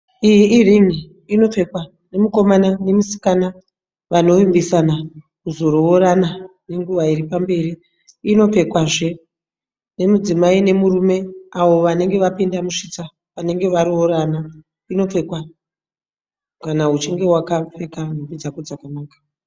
Iyi irin'i inopfekwa nemukomana nemusikana vanovimbisana kuzoroorana nenguva iripamberi inopfekwazve nemudzimai nemurume avo vanenge vapinda musvitsa vanenge varoorana inopfekwa kana uchinge wakapfeka nhumbi dzako dzakanaka.